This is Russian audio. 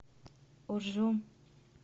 уржум